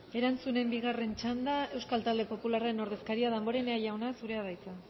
erantzunen bigarren txanda euskal talde popularren ordezkaria damborenea jauna zurea da hitza